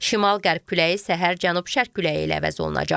Şimal-qərb küləyi səhər cənub-şərq küləyi ilə əvəz olunacaq.